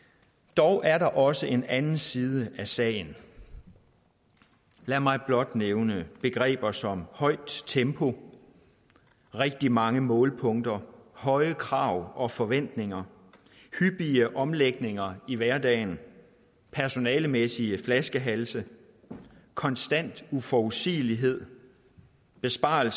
dog er der også en anden side af sagen lad mig blot nævne begreber som højt tempo rigtig mange målepunkter høje krav og forventninger hyppige omlægninger i hverdagen personalemæssige flaskehalse konstant uforudsigelighed sparerunder